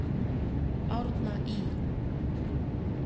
Árna Ý.